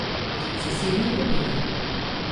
Zasebno lepilo.